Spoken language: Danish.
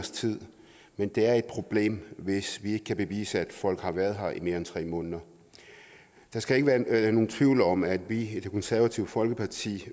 men det er et problem hvis vi ikke kan bevise at folk har været her i mere end tre måneder der skal ikke være nogen tvivl om at vi i det konservative folkeparti